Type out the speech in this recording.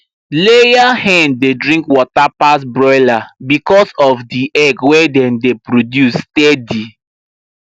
layer hen dey drink water pass broiler because of the egg wey dem dey produce steady